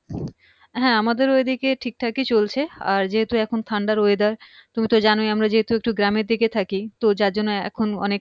হ্যাঁ আমাদের ঐদিকে ঠিকঠাকই চলছে আর যেহেতু এখন ঠান্ডার weather তুমি তো জানোই আমরা যেহেতু একটু গ্রামের দিকে থাকি তো যার জন্য এখন অনেক